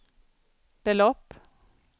belopp